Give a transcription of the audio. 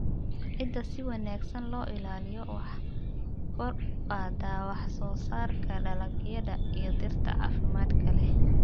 Ciidda si wanaagsan loo ilaaliyo waxay kor u qaadaa wax-soo-saarka dalagyada iyo dhirta caafimaadka leh.